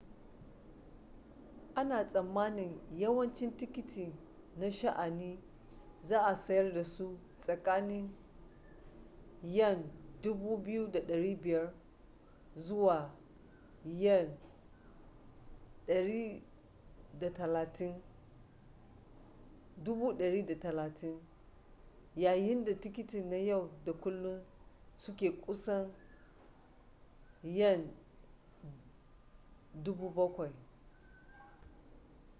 ana tsammanin yawancin tikiti na sha’ani za a sayar da su tsakanin ¥2,500 zuwa ¥130,000 yayin da tikiti na yau da kullun su ke kusan ¥ 7,000